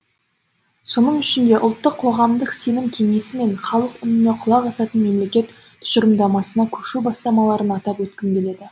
соның ішінде ұлттық қоғамдық сенім кеңесі мен халық үніне құлақ асатын мемлекет тұжырымдамасына көшу бастамаларын атап өткім келеді